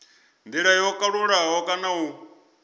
ndila yo kalulaho kana u